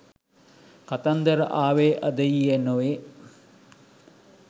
කතන්දර ආවේ අද ඊයේ නොවේ.